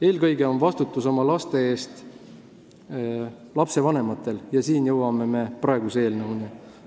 Eelkõige on vastutus oma lapse eest aga lastevanematel ja siin jõuame me praegu arutatava eelnõu juurde.